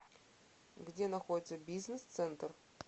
где находится бизнес центр